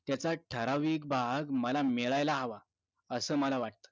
त्याचा ठराविक भाग मला मिळायला हवा असं मला वाटत